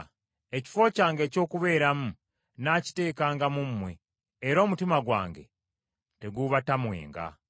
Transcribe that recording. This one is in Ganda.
Ekifo kyange eky’okubeeramu nnaakiteekanga mu mmwe, era omutima gwange teguubatamwenga.